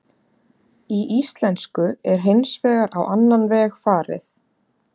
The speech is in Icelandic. Í íslensku er þessu hins vegar á annan veg farið.